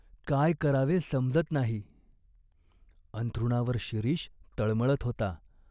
काय करावे समजत नाही." अंथरुणावर शिरीष तळमळत होता.